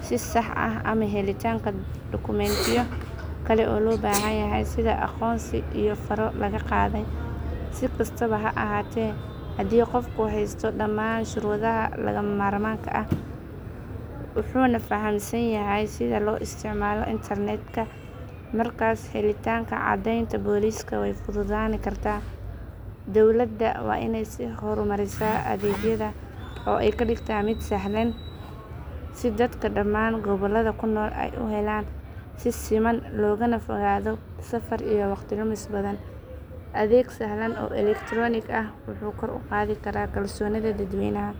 si sax ah ama helitaanka dukumentiyo kale oo loo baahan yahay sida aqoonsi iyo faro laga qaaday. Si kastaba ha ahaatee, haddii qofku haysto dhammaan shuruudaha lagama maarmaanka ah, wuxuuna fahamsan yahay sida loo isticmaalo internetka, markaas helitaanka caddeynta booliska way fududaan kartaa. Dowladda waa inay sii horumarisaa adeeggan oo ay ka dhigtaa mid sahlan, si dadka dhammaan gobollada ku nool ay u helaan si siman loogana fogaado safar iyo waqti lumis badan. Adeeg sahlan oo elektaroonik ah wuxuu kor u qaadi karaa kalsoonida dadweynaha.